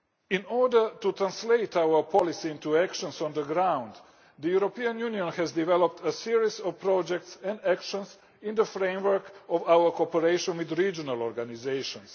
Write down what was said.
In order to translate our policy into actions on the ground, the European Union has developed a series of projects and actions in the framework of our cooperation with regional organisations.